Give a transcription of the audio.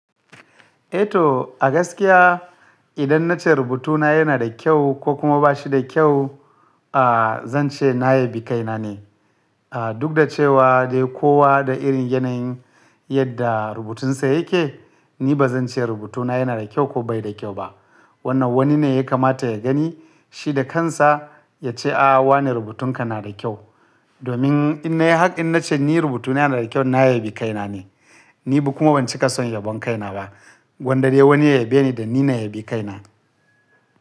Eh to a gaskiya idan na ce rubutuna yana da kyau ko kuma ba shi da kyau, a zan ce na yabi kaina ne. A duk da cewa dai kowa da irin yanayin yadda rubutunsa yake, ni ba zan ce rubutuna yana da kyau ko bai da kyau ba. Wannan wani ne ya kamata ya gani, shi da kansa ya ce, “A wane rubutunka na da kyau.” Domin in na yi hakkan na ce ni rubutuna yana da kyau, na yabi kaina ne. Ni kuma ban cika son yabon kaina ba, gwanda dai wani ya yabe ni da ni na yabi kaina.